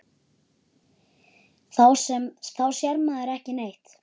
Þá sér maður ekki neitt.